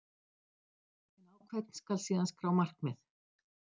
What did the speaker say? En á hvern skal síðan skrá markið?